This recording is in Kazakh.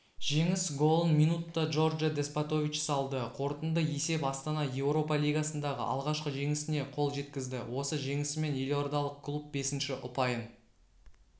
жеңіс голын минутта джордже деспотович салды қорытынды есеп астана еуропа лигасындағы алғашқы жеңісіне қол жеткізді осы жеңісімен елордалық клуб бесінші ұпайын